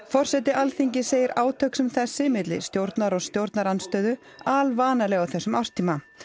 forseti Alþingis segir átök sem þessi milli stjórnar og stjórnarandstöðu alvanaleg á þessum árstíma